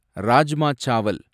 rajma சாவல்